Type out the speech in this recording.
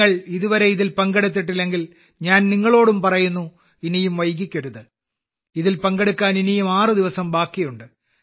നിങ്ങൾ ഇതുവരെ അതിൽ പങ്കെടുത്തിട്ടില്ലെങ്കിൽ ഞാൻ നിങ്ങളോടും പറയുന്നു ഇനിയും വൈകിക്കരുത് അതിൽ പങ്കെടുക്കാൻ ഇനിയും ആറു ദിവസം ബാക്കിയുണ്ട്